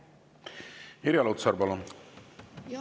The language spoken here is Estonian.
Irja Lutsar, palun!